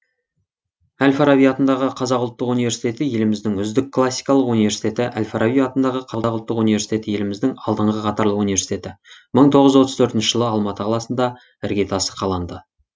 әл фараби атындағы қазұу еліміздің үздік классикалық университеті әл фараби атындағы қазақ ұлттық университеті еліміздің алдыңғы қатарлы университеті мың тоғыз жүз отыз төртінші жылы алматы қаласында іргетасы қаланды